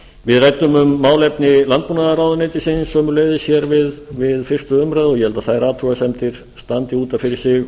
við ræddum um málefni landbúnaðarráðuneytisins sömuleiðis við fyrstu umræðu og ég held að þær athugasemdir standi út af fyrir